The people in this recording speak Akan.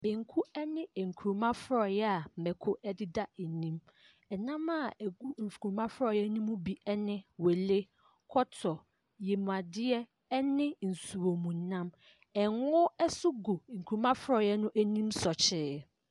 Banku ne nkruma frɔeɛ a mako deda ani. Nam a ɛgu nkruma frɔeɛ no ɛmu ne wele, kɔtɔ, yamuadeɛ ne nsuomunam. Ngo nso gu nkruma frɔeɛ no ani sɔkyee.